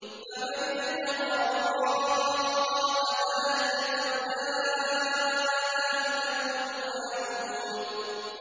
فَمَنِ ابْتَغَىٰ وَرَاءَ ذَٰلِكَ فَأُولَٰئِكَ هُمُ الْعَادُونَ